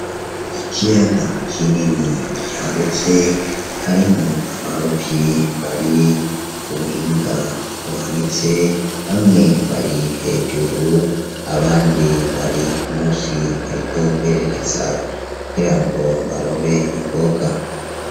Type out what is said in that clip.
Ikiyaga k'inini cagutse hariho abaruvyi bari ubuhinga uhanitse bamwe bari hejuru abandi bari musi bariko berekeza kugira ngo barobe imboga.